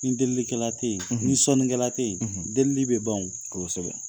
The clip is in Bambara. Ni delilikɛla tɛ yen, ni sɔnikɛla tɛ yen, delili bɛ ban, kosɛbɛ